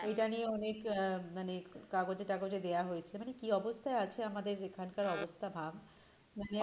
এটা নিয়ে অনেক আহ মানে কাগজে-টাগজে দেওয়া হয়েছে মানে কি অবস্থায় আছে আমাদের এখানকার অবস্থা ভাব